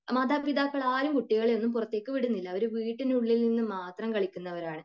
മാതാപിതാക്കളാരും കുട്ടികളെ ഒന്നും പുറത്തേക്കു വിടുന്നില്ല അവർ വീട്ടിനുള്ളിൽ നിന്ന് മാത്രം കളിക്കുന്നവരാണ്